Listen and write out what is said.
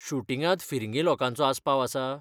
शूटिंगांत फिरंगी लोकांचो आस्पाव आसा?